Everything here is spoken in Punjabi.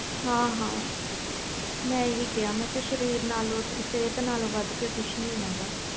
ਹਾ ਹਾਂ ਮੈਂ ਹੀ ਕਿਹਾ ਸਰੀਰ ਨਾਲੋਂ ਵੱਧ ਕੇ ਕੁਛ ਨਹੀਂ ਹੈ